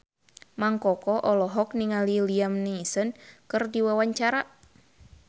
Mang Koko olohok ningali Liam Neeson keur diwawancara